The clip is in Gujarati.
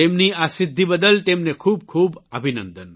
તેમની આ સિદ્ધિ બદલ તેમને ખૂબખૂબ અભિનંદન